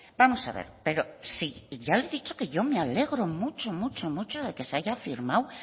vamos a ver pero si ya le he dicho que yo me alegro mucho mucho mucho de que se haya firmado